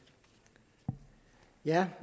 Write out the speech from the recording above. jeg høre